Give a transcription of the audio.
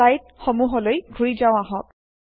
slide সমূহলৈ ঘূৰি যাও আহক